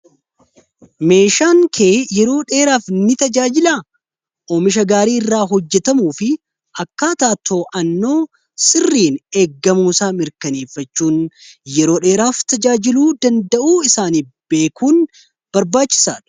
meeshaan kee yeroo dheeraaf ni tajaajila? oomisha gaarii irraa hojjetamuu fi akka akkaataa to'annoo sirriin eeggamuu isaa mirkaneeffachuun yeroo dheeraaf tajaajiluu danda'uu isaanii beekuun barbaachisaadha.